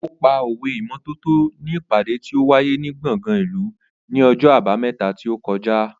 Ó pa òwe ìmọ́tótó ní ìpàdé tí ó wáyé ní gbọ̀ngàn ìlú ní ọjọ́ Àbámẹ́ta tí ó kọjá.